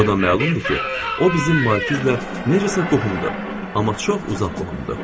O da məlumdur ki, o bizim Markizlə necəsə qohumdur, amma çox uzaq qohumdur.